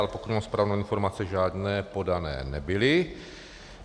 Ale pokud mám správnou informaci, žádné podané nebyly.